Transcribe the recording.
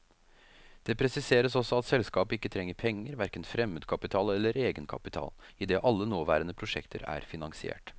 Det presiseres også at selskapet ikke trenger penger, hverken fremmedkapital eller egenkapital, idet alle nåværende prosjekter er finansiert.